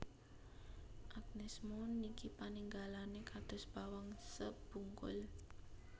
Agnez Mo niki paningalane kados bawang sebungkul